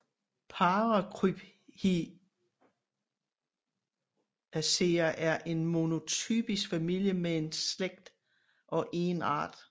Paracryphiaceae er en monotypisk familie med én slægt og én art